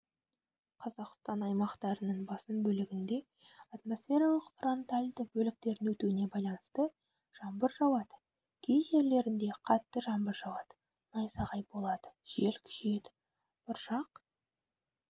қазақстан аймақтарының басым бөлігінде атмосфералық фронтальды бөліктердің өтуіне байланысты жаңбыр жауады кей жерлерінде қатты жаңбыр жауады найзағай болады жел күшейеді бұршақ